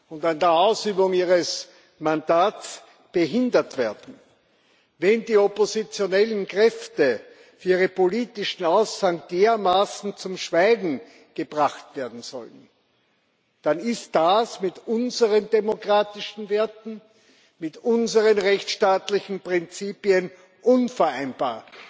und dann an der Ausübung ihres Mandats gehindert werden, wenn die oppositionellen Kräfte für ihre politischen Aussagen dermaßen zum Schweigen gebracht werden sollen, dann ist das mit unseren demokratischen Werten, mit unseren rechtsstaatlichen Prinzipien unvereinbar.